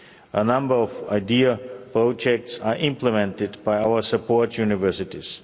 A number of EIDHR projects are implemented by our support universities.